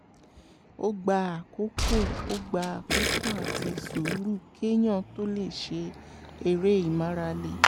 ó gba àkókò ó gba àkókò àti sùúrù kéèyàn tó lè ṣe eré ìmárale